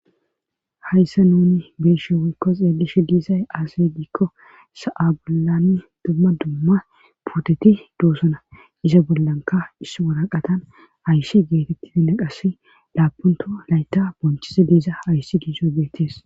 Hayssa nuni beeshe wolkko xeelishi diisay aasey diikko sa'abolami dumma dumma puteti doosona iza bollanka is waraqatan ayssi geetetti dinaqas laapunto layta bonchiza diisa ayssi diizoy beettees.